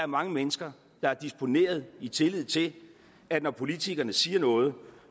mange mennesker der har disponeret i tillid til at når politikerne siger noget